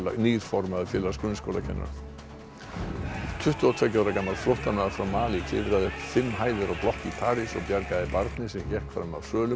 nýr formaður Félags grunnskólakennara tuttugu og tveggja ára gamall flóttamaður frá Malí klifraði upp fimm hæðir á blokk í París og bjargaði barni sem hékk fram af svölum